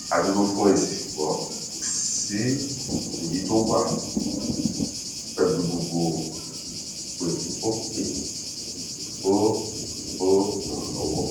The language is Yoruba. a dúró fún èsì ṣùgbọn kò sí èyí tó wá pẹlú gbogbo àpètúnpè ìpè fún ìpè fún ìrànlọwọ